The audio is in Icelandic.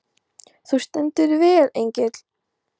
Þú stendur þig vel, Engill!